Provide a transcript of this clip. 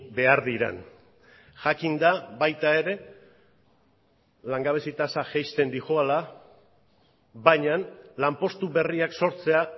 behar diren jakinda baita ere langabezi tasa jaisten doala baina lanpostu berriak sortzea